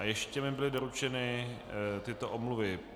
A ještě mi byly doručeny tyto omluvy.